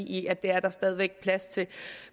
i at det er der stadig væk plads til